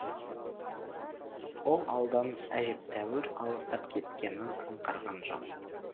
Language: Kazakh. ол ауылдан әжептәуір алыстап кеткенін аңғарған жоқ